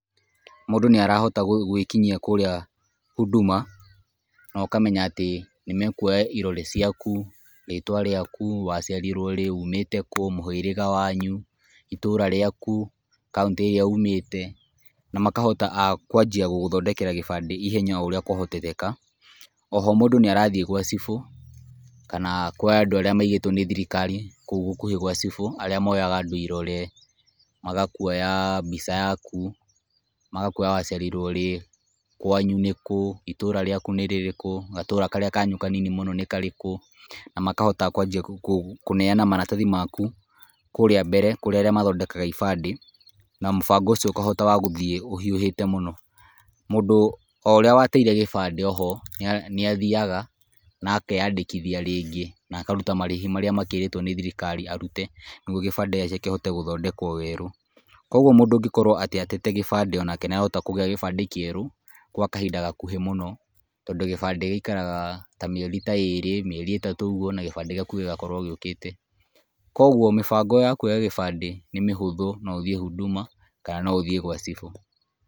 Mũndũ nĩarahota gwĩkinyia kũrĩa huduma no ũkamenya atĩ nĩ mekũoya irore ciaku, ritwa rĩaku, waciarirwo rĩ, ũmĩte kũ, mũhĩrĩga wanyu, itũra rĩakũ, kauntĩ irĩa ũmĩte na makahota akwanjia gũgũthondekera gĩbandĩ ihenya oũrĩa kwahotekeka. Oho mũndũ nĩarathiĩ gwa cibũ, kana kwa andũ arĩa maigĩtwo nĩ thĩrikari kũu gũkũhĩ kwa cibũ arĩa moyaga andũ irore, magakũoya mbica yaku, magakũoya wa ciarirwo rĩ, kwanyũ nĩkũ, itũra rĩakũ nĩrĩrĩkũ, gatũra karĩa kanyu kanini mũno nĩ karĩkũ na makahota kwanjĩa kũneana maratathi maku kũrĩa mbere, kũria arĩa mathondekaga ĩbandĩ na mũthango ũcio ũkahota wa gũthiĩ ũhĩũhĩte mũno. Mũndũ oũrĩa wateire gĩbandĩ oho nĩathiaga nakeyandĩkithia rĩngĩ, na akarũta marĩhĩ marĩa makĩrĩtwo nĩ thirikari arũte nĩgũo gĩbandĩ gĩake kĩhote gũthondekwo werũ. Kogwo mũndũ ũngĩkorwo atete gĩbandĩ, onake nĩarahota kũgĩa gĩbandĩ kĩerũ kwa kahinda gakũhĩ mũno, tondũ gĩbandĩ gĩikaraga ta mĩeri ta ĩrĩ, mĩeri itatu ũgũo na gĩbandĩ gĩakũ gĩgakorwo gĩũkĩte. Kogwo mĩbango ya kũoya gĩbandĩ nĩ mĩhũthũ no ũthiĩ huduma kana no ũthiĩ gwa cibũ.